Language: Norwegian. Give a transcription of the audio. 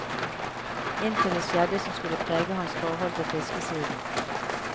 Inntil det skjedde som skulle prege hans forhold til fiskesiden.